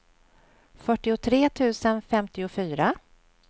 fyrtiotre tusen femtiofyra